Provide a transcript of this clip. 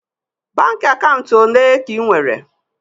Baankị akaụntụ ole ka ị nwere?